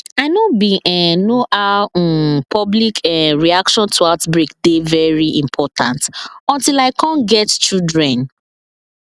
i know bin um know how um public um reaction to outbreak dey very important until i cum get children